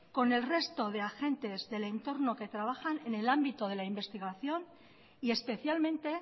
con el resto de agentes del entorno que trabajan en el ámbito de la investigación y especialmente